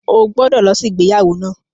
O gbọ́dọ̀ lọ sí ìgbéyàwó náà!